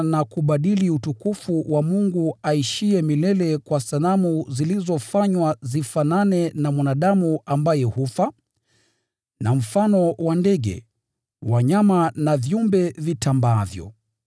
na kubadili utukufu wa Mungu aishiye milele kwa sanamu zilizofanywa zifanane na mwanadamu ambaye hufa, na mfano wa ndege, wanyama na viumbe vitambaavyo.